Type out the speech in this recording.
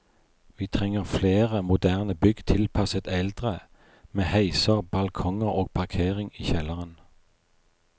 Vi trenger flere moderne bygg tilpasset eldre, med heiser, balkonger og parkering i kjelleren.